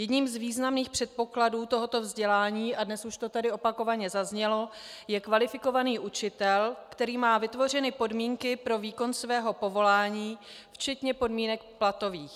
Jedním z významných předpokladů tohoto vzdělání, a dnes už to tady opakovaně zaznělo, je kvalifikovaný učitel, který má vytvořeny podmínky pro výkon svého povolání včetně podmínek platových.